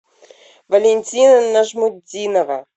валентина нажмутдинова